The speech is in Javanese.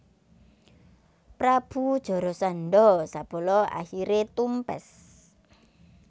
Prabu Jarasandha sabala akhiré tumpes